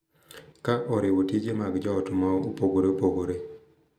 Ka oriwo tije mag jo ot mopogore opogore,